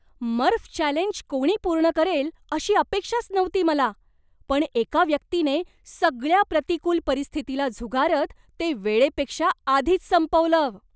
मर्फ challenge कोणी पूर्ण करेल अशी अपेक्षाच नव्हती मला, पण एका व्यक्तीनं सगळ्या प्रतिकूल परिस्थितीला झुगारत ते वेळेपेक्षा आधीच संपवलं.